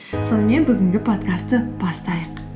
сонымен бүгінгі подкастты бастайық